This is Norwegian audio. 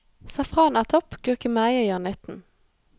Safran er topp, gurkemeie gjør nytten.